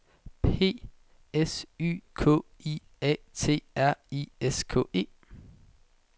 P S Y K I A T R I S K E